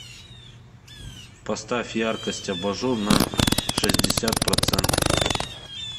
поставь яркость абажур на шестьдесят процентов